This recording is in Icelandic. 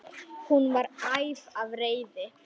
Hún var æf af reiði.